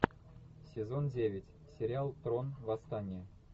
сезон девять сериал трон восстание